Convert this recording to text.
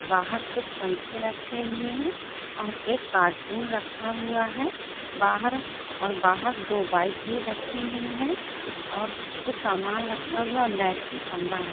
बाहर कुछ पंखे रखे हुए है और एक कार्टून रखा हुआ है बाहर दो बाइक भी रखी हुई है और कुछ सामान रखा हुआ और लाइट की खंबा है।